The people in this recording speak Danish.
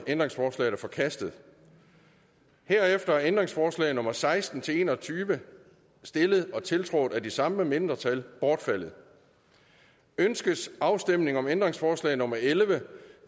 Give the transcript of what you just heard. ændringsforslaget er forkastet herefter er ændringsforslag nummer seksten til en og tyve stillet og tiltrådt af de samme mindretal bortfaldet ønskes afstemning om ændringsforslag nummer elleve